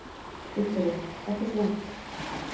Viktoría: Ekkert vont?